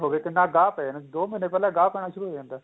ਹੋਵੇ ਕਿੰਨਾ ਗਾ ਪੈ ਜਾਂਦਾ ਦੋ ਮਹੀਨੇ ਪਹਿਲਾਂ ਗਾ ਪੈਣਾ ਸ਼ੁਰੂ ਹੋ ਜਾਂਦਾ